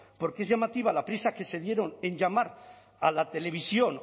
porque es llamativa la prisa que se dieron en llamar a la televisión